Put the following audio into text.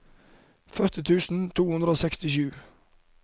førti tusen to hundre og sekstisju